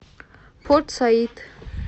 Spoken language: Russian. порт саид